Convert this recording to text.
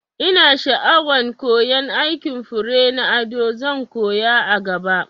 Ina sha'awan koyan aikin fure na ado, zan koya a gaba